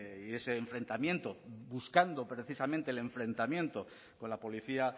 y ese enfrentamiento buscando precisamente el enfrentamiento con la policía